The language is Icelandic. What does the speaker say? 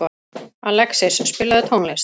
Alexis, spilaðu tónlist.